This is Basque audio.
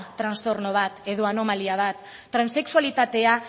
trastorno bat edo anomalia bat transexualitatea